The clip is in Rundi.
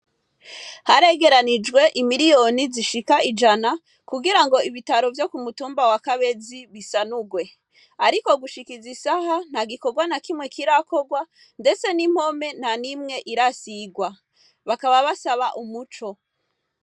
Haregeranijwe imiliyoni zishika ijana kugira ngo ibitaro vyo ku mutumba wa kabezi bisanurwe, ariko gushikiza isaha nta gikorwa na kimwe kirakorwa mdese n'impome na n'imwe irasirwa, bakaba basaba umuco.